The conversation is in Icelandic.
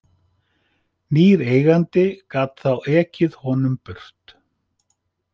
Nýr eigandi gat þá ekið honum burt.